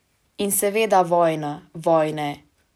In seveda vojna, vojne!